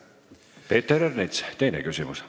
Peeter Ernits, teine küsimus.